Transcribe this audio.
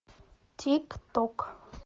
тик ток